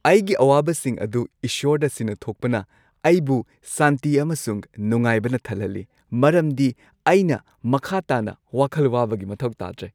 ꯑꯩꯒꯤ ꯑꯋꯥꯕꯁꯤꯡ ꯑꯗꯨ ꯏꯁꯣꯔꯗ ꯁꯤꯟꯅꯊꯣꯛꯄꯅ ꯑꯩꯕꯨ ꯁꯥꯟꯇꯤ ꯑꯃꯁꯨꯡ ꯅꯨꯡꯉꯥꯏꯕꯅ ꯊꯟꯍꯜꯂꯤ ꯃꯔꯝꯗꯤ ꯑꯩꯅ ꯃꯈꯥ ꯇꯥꯅ ꯋꯥꯈꯜ ꯋꯥꯕꯒꯤ ꯃꯊꯧ ꯇꯥꯗ꯭ꯔꯦ꯫